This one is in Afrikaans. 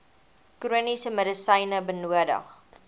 chroniese medisyne benodig